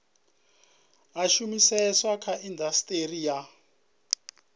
a shumiseswa kha indasiteri ya